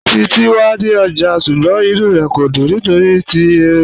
Títi wà ní ọ́jà, ṣùgbọ́n ìnú rẹ kò dún nítorí ti írin